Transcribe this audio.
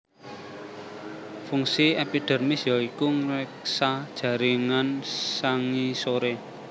Fungsi epidermis ya iku ngreksa jaringan sangisoré